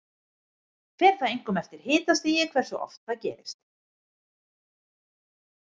Fer það einkum eftir hitastigi hversu oft það gerist.